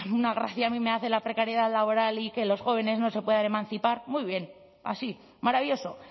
una gracia a mí me hace la precariedad laboral y que los jóvenes no se puedan emancipar muy bien así maravilloso